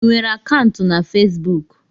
Ị nwere akaụntụ na Fesbuk?